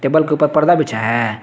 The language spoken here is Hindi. बल के ऊपर पर्दा बिछा है।